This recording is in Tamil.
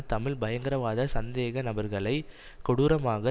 தமிழ் பயங்கரவாத சந்தேக நபர்களை கொடூரமாக